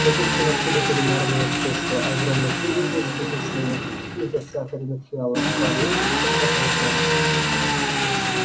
тётушкино чудо кулинарного искусства огромный пудинг из взбитых сливок и засахаренных фиалок парил под потолком